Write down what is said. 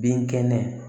Bin kɛnɛ